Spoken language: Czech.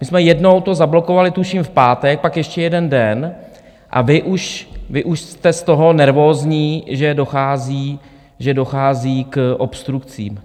My jsme to jednou zablokovali, tuším v pátek, pak ještě jeden den, a vy už jste z toho nervózní, že dochází k obstrukcím.